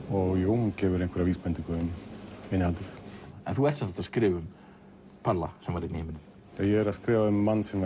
hún gefur einhverja vísbendingu um innihaldið þú ert sem sagt að skrifa um palla sem var einn í heiminum ég er að skrifa um mann sem